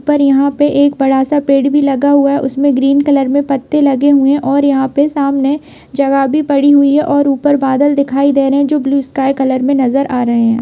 ऊपर यहाँ पे एक बड़ा सा पेड़ भी लगा हुआ है उसमें ग्रीन कलर में पत्ते लगे हुए है और यहाँ पे सामने जगह भी पड़ी हुई है और ऊपर बादल दिखाई दे रहे हैं जो ब्लू स्काई कलर में नजर आ रहे हैं।